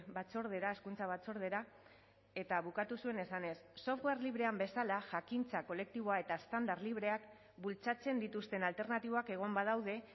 batzordera hezkuntza batzordera eta bukatu zuen esanez software librean bezala jakintza kolektiboa eta estandar libreak bultzatzen dituzten alternatibak egon badaude